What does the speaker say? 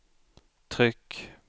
tryck